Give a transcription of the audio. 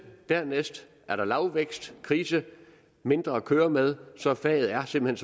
dernæst er der lavvækst krise mindre at køre med så faget er simpelt